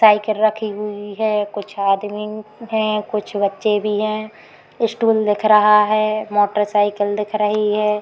Cycle रखी हुई है। कुछ आदमी हैं। कुछ बच्चे भी है। स्टूल दिख रहा है। मोटरसाइकिल दिख रही है।